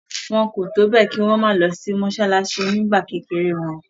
Wọ́n kò tó bẹ́ẹ̀ kí wọn má lọ mọsálásí nígbà kékeré wọn.